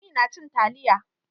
Lami nacin taliya.